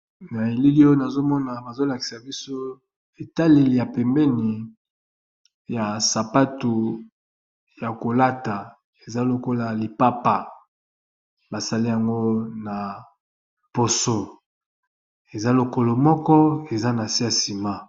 Na elili oyo nazo mona bazo lakisa biso etaleli ya pembeni ya sapatu ya kolata, eza lokola lipapa basali yango na poso eza lokolo moko eza na se ya nsima.